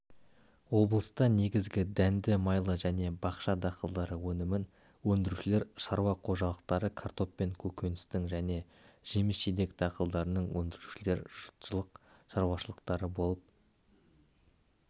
облыста негізгі дәнді майлы және бақша дақылдары өнімін өндірушілер шаруа қожалықтары картоп пен көкөністің және жеміс-жидек дақылдарын өндірушілер жұртшылық шаруашылықтары болып